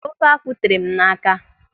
Ofe akwụ tere m n'aka.